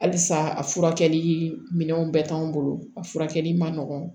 Halisa a furakɛli minɛnw bɛɛ t'anw bolo a furakɛli man nɔgɔ